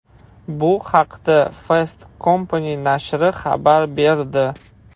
Bu haqda Fast Company nashri xabar berdi .